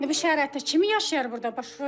İndi bu şəraitdə kimi yaşayar burda başına dönüm?